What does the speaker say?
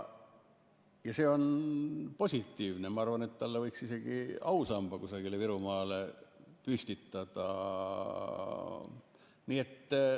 See on positiivne ja ma arvan, et talle võiks isegi ausamba kusagile Virumaale püstitada.